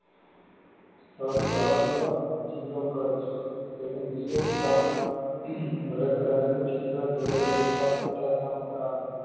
સ્થળ ધોળાવીરા જીલો કચ્છ તેની વિશિસ્ઠ બળદ ગાડા નું ચિત્ર જળ વ્યવસ્થા પત્થર ના મકાનો